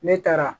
Ne taara